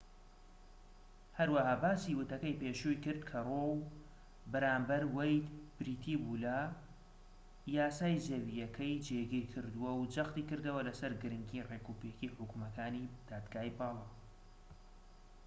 هەروەها باسی وتەکەی پێشووی کرد کە ڕۆو بەرامبەر وەید بریتی بووە لە یاسای زەویەکەی جێگیر کردووە و جەختی کردەوە سەر گرنگیی ڕێکوپێکیی حوکمەکانی دادگای باڵا